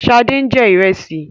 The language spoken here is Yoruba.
Sade ń jẹ ìrẹsì